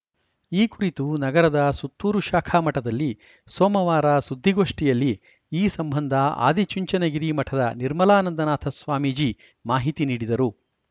ಈ ಕುರಿತು ನಗರದ ಸುತ್ತೂರು ಶಾಖಾ ಮಠದಲ್ಲಿ ಸೋಮವಾರ ಸುದ್ದಿಗೋಷ್ಠಿಯಲ್ಲಿ ಈ ಸಂಬಂಧ ಆದಿಚುಂಚನಗಿರಿ ಮಠದ ನಿರ್ಮಲಾನಂದನಾಥ ಸ್ವಾಮೀಜಿ ಮಾಹಿತಿ ನೀಡಿದರು